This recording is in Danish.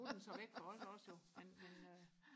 nu er den så væk for os også jo men men øh